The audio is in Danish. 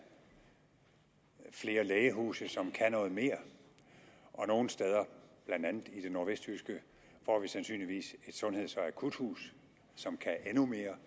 flere lægehuse som kan noget mere og nogle steder blandt andet i det nordvestjyske får vi sandsynligvis et sundheds og akuthus som kan endnu mere